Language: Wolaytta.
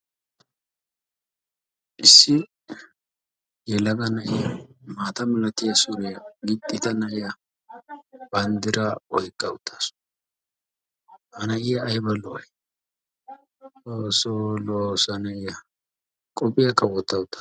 Issi yelaga na7iya maata milatiya suriya gixxida na7iya banddiraa oyiqqa uttaasu. Ha na7iya ayiba lo7ayi XOOSSOO lo7os ha na7iya. Qophiyaakka wotta uttaasu